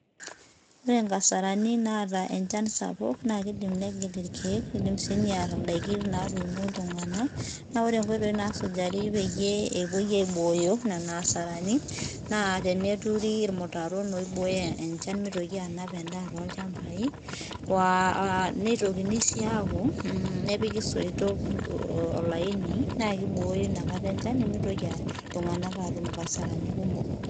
Ore nkasarani naata enchan sapuk na kidim near irkiek near ndakin natuuno ltunganak na ore pepuoi aibooyo nona asarani na teneturi irmutaroni oiboyo enkare pemitoki anao endaa tolchambai nitokini apuo nepiki soitok na kibooyo enchan nimitoki ltunganak atum ngasarani kumok